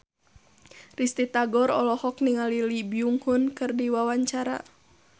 Risty Tagor olohok ningali Lee Byung Hun keur diwawancara